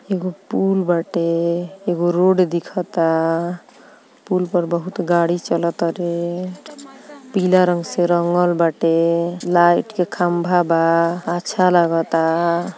एगो पुल बाटे एगो रोड दिखता पुल पर बहुत गाड़ी चलतारे पीला रंग से रंगल बाटे लाइट के खम्बा बा अच्छा लागता |